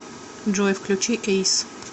джой включи эйс